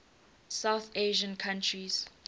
south asian countries